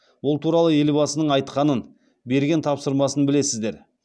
ол туралы елбасының айтқанын берген тапсырмасын білесіздер